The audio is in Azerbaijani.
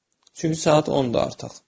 Çünki saat 10-dur artıq.